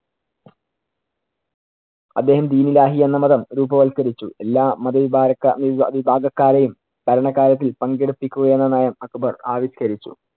അദ്ദേഹം ദിൻ ഇലാഹി എന്ന മതം രൂപവത്കരിച്ചു. എല്ലാ മതവിഭാ~ ക്കാ~ വിഭ~ വിഭാഗക്കാരെയും ഭരണകാര്യത്തില്‍ പങ്കെടുപ്പിക്കുക എന്ന നയം അക്ബർ ആവിഷ്കരിച്ചു.